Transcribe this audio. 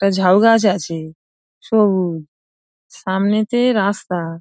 একটা ঝাউ গাছ আছে সবুজ সামনেতে রাস্তা |